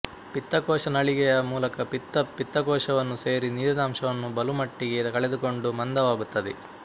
ಪಿತ್ತಕೋಶ ನಳಿಗೆಯ ಮೂಲಕ ಪಿತ್ತ ಪಿತ್ತಕೋಶವನ್ನು ಸೇರಿ ನೀರಿನಂಶವನ್ನು ಬಲುಮಟ್ಟಿಗೆ ಕಳೆದುಕೊಂಡು ಮಂದವಾಗುತ್ತದೆ